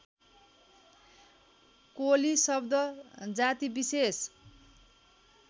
कोली शब्द जातिविशेष